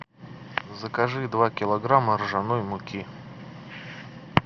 закажи два килограмма ржаной муки